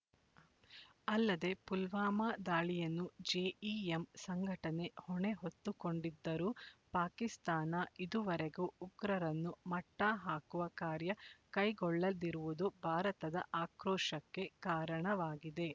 ಅಲ್ಲದೆ ಪುಲ್ವಾಮಾ ದಾಳಿಯನ್ನು ಜೆಇಎಂ ಸಂಘಟನೆ ಹೊಣೆ ಹೊತ್ತುಕೊಂಡಿದ್ದರೂ ಪಾಕಿಸ್ತಾನ ಇದುವರೆಗೆ ಉಗ್ರರನ್ನು ಮಟ್ಟಹಾಕುವ ಕಾರ್ಯ ಕೈಗೊಳ್ಳದಿರುವುದು ಭಾರತದ ಆಕ್ರೋಶಕ್ಕೆ ಕಾರಣವಾಗಿದೆ